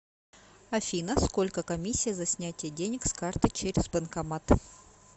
афина сколько комиссия за снятие денег с карты через банкомат